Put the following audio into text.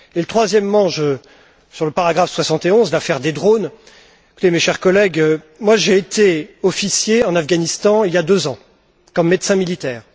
Et troisièmement, sur le paragraphe 71, l'affaires des drones écoutez, mes chers collègues, j'ai été officier en Afghanistan il y a deux ans, comme médecin militaire.